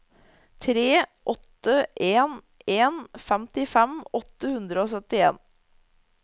tre åtte en en femtifem åtte hundre og syttien